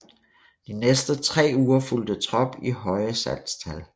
De næste tre fulgte trop i høje salgstal